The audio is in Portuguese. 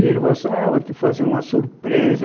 E ele falou assim, ah vou te fazer uma surpresa.